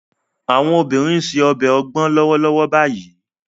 Àwọn obìnrin ń se ọbẹ̀ ogbon lọ́wọ́lọ́wọ́ báyìí